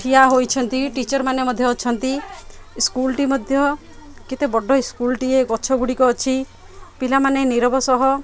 ଠିଆ ହୋଇଛନ୍ତି ଟିଚର୍ ମାନେ ମଧ୍ୟ ଅଛନ୍ତି ସ୍କୁଲ୍ ଟି ମଧ୍ୟ କେତେ ବଡ ଇସ୍କୁଲ୍ ଟିଏ ଗଛ ଗୁଡ଼ିକ ଅଛି ପିଲାମାନେ ନୀରବ ସହ --